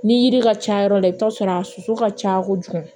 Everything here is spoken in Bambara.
Ni yiri ka ca yɔrɔ la i bi t'a sɔrɔ a soso ka ca kojugu